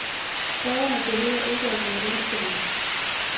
Borgerne behøver ikke at være ængstelige.